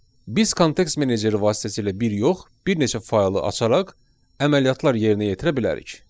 Biz kontekst meneceri vasitəsilə bir yox, bir neçə faylı açaraq əməliyyatlar yerinə yetirə bilərik.